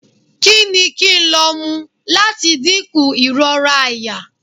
Kini kín lo m lati dinku irora àyà?